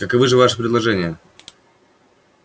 каковы же ваши предложения